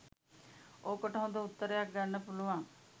ඕකට හොඳ උත්තරයක්‌ ගන්න පුළුවන්.